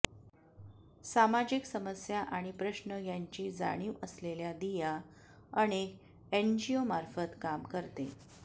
सामाजिक समस्या आणि प्रश्न यांची जाणीव असलेल्या दिया अनेक एनजीओमार्फत काम करते